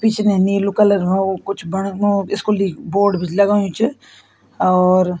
पिछने नीलू कलर मा हो कुछ बण मो स्कूलि बोर्ड भी लगायुं च और --